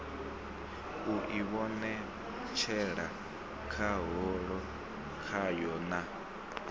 u ivhonetshela khahulo kwayo na